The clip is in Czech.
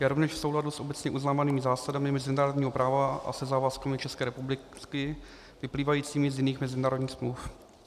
Je rovněž v souladu s obecně uznávanými zásadami mezinárodního práva a se závazky České republiky vyplývajícími z jiných mezinárodních smluv.